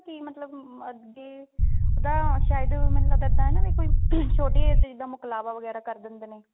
ਮਤਲਬ ਅੱਗੇ ਉਹਦਾ ਸ਼ਾਇਦ ਮੈਨੂੰ ਲੱਗਦਾ ਵੀ ਕੋਈ ਛੋਟੀ age ਚ ਜਿਦਾਂ ਮੁਕਲਾਵਾ ਵਗੇਰਾ ਕਰ ਦਿੰਦੇ ਨੇ